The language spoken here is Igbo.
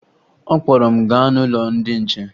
Ọ kpọrọ m gaa n'ụlọ ndị che